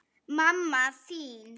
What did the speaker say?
Mamma þín